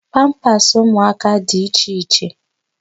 Pampasị ụmụaka dị iche iche.